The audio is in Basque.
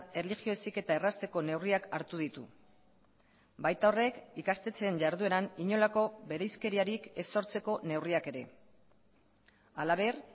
erlijio heziketa errazteko neurriak hartu ditu baita horrek ikastetxeen jardueran inolako bereizkeriarik ez sortzeko neurriak ere halaber